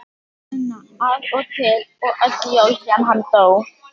Gunna af og til og öll jól síðan hann dó.